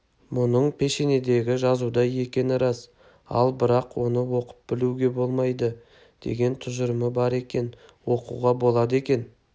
мұның пешенедегі жазудай екені рас ал бірақ оны оқып-білуге болмайды деген тұжырымы бекер екен оқуға болады екен